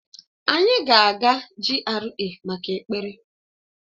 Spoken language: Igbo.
Anyị ga-aga GRA maka ekpere